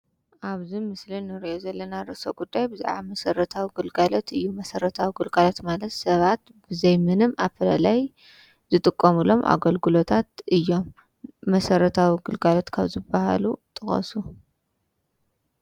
ኣብዚ ምስሊ እንሪኦ ዘለና ርእሰ ጉዳይ ብዛዕባ መሰረታዊ ግልጋሎት እዩ። መሰረታዊ ግልጋሎት ማለት ሰባት ብዘይ ምንም ኣፈላላይ ዝጥቀሙሎም ኣገልግሎታት እዮም። መሰረታዊ ግልጋሎት ካብ ዝበሃሉ ጥቀሱ?